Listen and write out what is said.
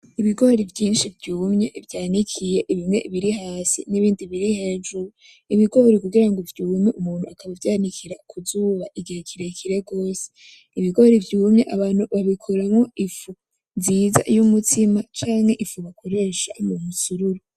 Ibigori vyinshi vyumye vyanikiye, bimwe hasi n'ibindi biri hejuru, ibigori kugira ngo vyume umuntu akavyanikira kuzuba igihe kirekire gose, ibigori vyumye abantu babikoramwo ifu nziza y'umutsima canke ifu bakoresha uwo musururu.